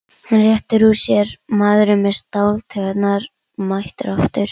Hann réttir úr sér, maðurinn með stáltaugarnar mættur aftur.